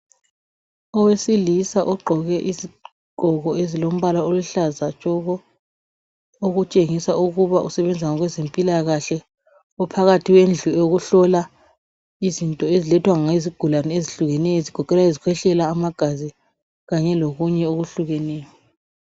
Owesilisa ogqoke izigqoko eziluhlaza tshoko okutshengisa ukuba usebenza ngabezempilakahle uphakathi kwendlu yokuhlola izinto ezilethwa yizigulane ezihlukeneyo ezigoqela izikhwehlela amagazi kanye lokunye okuhlukeneyo